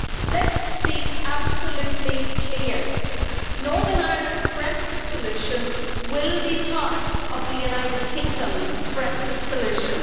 Let's be absolutely clear Northern Ireland's Brexit solution will be part of the United Kingdom's Brexit solution.